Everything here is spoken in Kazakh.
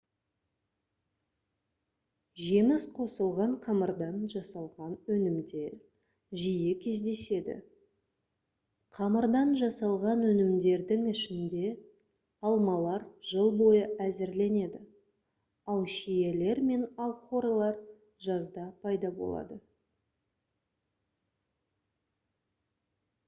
жеміс қосылған қамырдан жасалған өнімдер жиі кездеседі қамырдан жасалған өнімдердің ішінде алмалар жыл бойы әзірленеді ал шиелер мен алхорылар жазда пайда болады